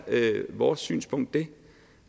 vores synspunkt